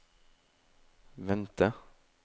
vente